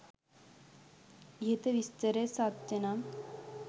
ඉහත විස්තරය සත්‍යනම්